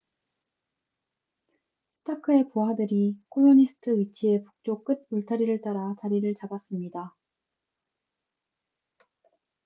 스타크의 부하들이 콜로니스트 위치의 북쪽 끝 울타리를 따라 자리를 잡았습니다